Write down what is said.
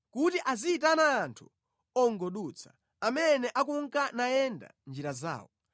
kuti aziyitana anthu ongodutsa, amene akunka nayenda njira zawo.